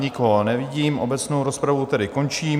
Nikoho nevidím, obecnou rozpravu tedy končím.